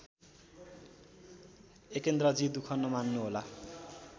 एकेन्द्रजी दुख नमान्नुहोला